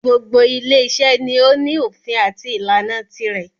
Gbogbo ile iṣẹ́ ni o ní òfin àti ìlànà tirẹ̀.